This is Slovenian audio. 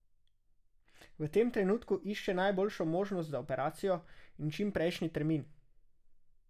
V tem trenutku išče najboljšo možnost za operacijo in čim prejšnji termin.